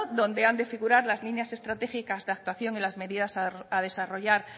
donde han de figurar las líneas estratégicas de actuación en las medidas a desarrollar